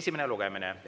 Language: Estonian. esimene lugemine.